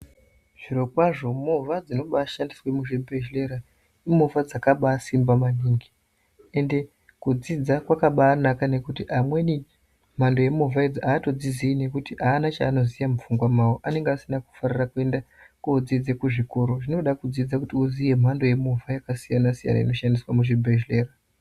Zvirokwazvo movha dzinobashandiswa muzvibhehlera imovha dzakaba simba maningi, ende kudzidza kwakabanaka nekuti amweni mhamdo yemovha idzi atodzizii nekuti ana chahanoziya mupfungwa mawo anongaasina kufarira kuenda kudzidze kuzvikoro zvinoda kudzidza kuti uziye mhando yemovha yakasiyana siyana inoshandiswa muzvibhehlera.